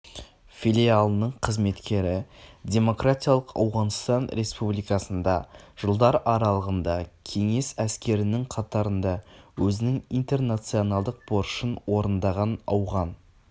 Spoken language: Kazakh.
филиалының қызметкері демократиялық ауғанстан республикасында жылдар аралығында кеңес әскерінің қатарында өзінің интернационалдық борышын орындаған ауған